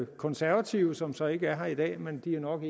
konservative som så ikke er her i dag men de er nok